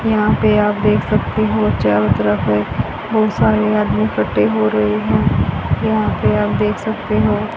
यहां पे आप देख सकते हो चारों तरफ है बहुत सारे आदमी इखट्ठे हो रहे है यहां पे आप देख सकते हो।